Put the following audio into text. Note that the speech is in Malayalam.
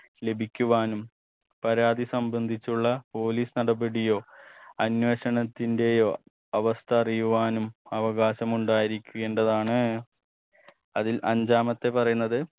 ലഭിക്കുവാനും പരാതി സംബന്ധിച്ചുള്ള police നടപടിയോ അന്വേഷണത്തിന്റെയോ അവസ്ഥ അറിയുവാനും അവകാശമുണ്ടായിരിക്കേണ്ടതാണ് അതിൽ അഞ്ചാമത്തെ പറയുന്നത്